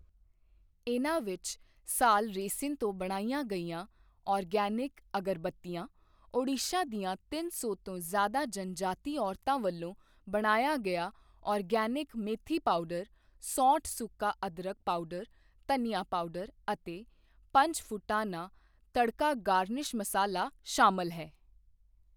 ਇਨ੍ਹਾਂ ਵਿੱਚ ਸਾਲ ਰੇਸਿਨ ਤੋਂ ਬਣਾਈਆਂ ਗਈਆਂ ਆਰਗੈਨਿਕ ਅਗਰਬੱਤੀਆਂ, ਓਡੀਸ਼ਾ ਦੀਆਂ ਤਿੰਨ ਸੌ ਤੋਂ ਜ਼ਿਆਦਾ ਜਨਜਾਤੀ ਔਰਤਾਂ ਵੱਲੋਂ ਬਣਾਇਆ ਗਿਆ ਆਰਗੈਨਿਕ ਮੇਥੀ ਪਾਊਡਰ, ਸੌਂਠ ਸੁੱਕਾ ਅਦਰਕ ਪਾਊਡਰ, ਧਨੀਆ ਪਾਊਡਰ ਅਤੇ ਪੰਚਫੁਟਾਨਾ ਤੜਕਾ ਗਾਰਨਿਸ਼ ਮਸਾਲਾ ਸ਼ਾਮਲ ਹੈ।